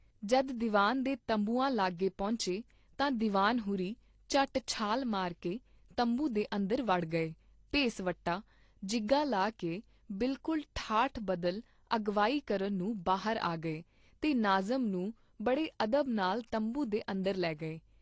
ਜਦ ਦੀਵਾਨ ਦੇ ਤੰਬੂਆਂ ਲਾਗੇ ਪਹੁੰਚੇ ਤਾਂ ਦੀਵਾਨ ਹੁਰੀਂ ਝੱਟ ਛਾਲ ਮਾਰਕੇ ਤੰਬੂ ਦੇ ਅੰਦਰ ਵੜ ਗਏ, ਭੇਸ ਵਟਾ, ਜਿਗਾ ਲਾ ਕੇ ਬਿਲਕੁਲ ਠਾਠ ਬਦਲ ਅਗਵਾਈ ਕਰਨ ਨੂੰ ਬਾਹਰ ਆ ਗਏ ਤੇ ਨਾਜ਼ਮ ਨੂੰ ਬੜੇ ਅਦਬ ਨਾਲ ਤੰਬੂ ਦੇ ਅੰਦਰ ਲੈ ਗਏ।